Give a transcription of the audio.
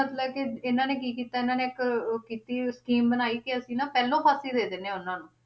ਮਤਲਬ ਕਿ ਇਹਨਾਂ ਨੇ ਕੀ ਕੀਤਾ ਇਹਨਾਂ ਨੇ ਇੱਕ ਉਹ ਕੀਤੀ scheme ਬਣਾਈ ਕਿ ਅਸੀਂ ਨਾ ਪਹਿਲੋਂ ਫਾਂਸੀ ਦੇ ਦਿਨੇ ਆਂ ਉਹਨਾਂ ਨੂੰ,